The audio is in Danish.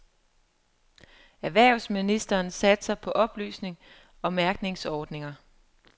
Erhvervsministeren satser på oplysning og mærkningsordninger.